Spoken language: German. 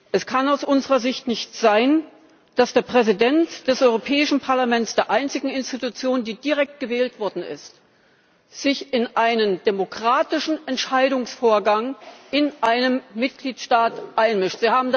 Es kann aus unserer Sicht nicht sein, dass der Präsident des Europäischen Parlaments, der einzigen Institution, die direkt gewählt worden ist, sich in einen demokratischen Entscheidungsvorgang in einem Mitgliedstaat einmischt.